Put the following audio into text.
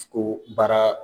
o baara